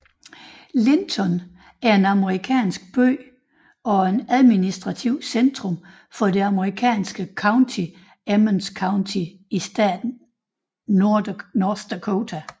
Linton er en amerikansk by og administrativt centrum for det amerikanske county Emmons County i staten North Dakota